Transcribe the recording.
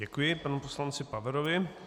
Děkuji panu poslanci Paverovi.